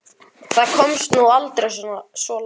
Það komst nú aldrei svo langt.